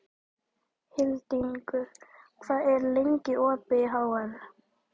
Hildingur, hvað er lengi opið í HR?